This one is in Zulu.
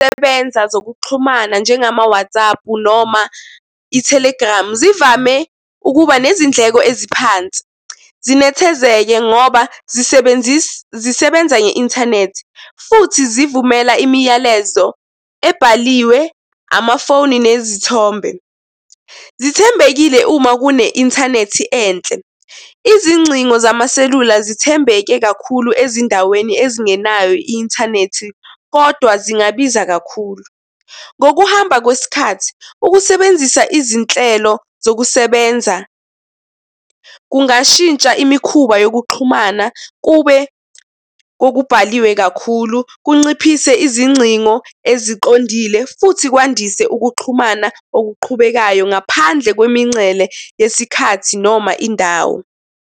Sebenza zokuxhumana njengama-WhatsApp noma i-Telegram zivame ukuba nezindleko eziphansi. Zinethezeke ngoba zisebenza nge-inthanethi, futhi zivumela imiyalezo ebhaliwe, amafoni nezithombe. Zithembekile uma kune-inthanethi enhle. Izingcingo zamaselula zithembeke kakhulu ezindaweni ezingenayo i-inthanethi, kodwa zingabiza kakhulu. Ngokuhamba kwesikhathi ukusebenzisa izinhlelo zokusebenza kungashintsha imikhuba yokuxhumana kube kokubhaliwe kakhulu, kunciphise izingcingo eziqondile, futhi kwandise ukuxhumana okuqhubekayo ngaphandle kwemincele yesikhathi noma indawo.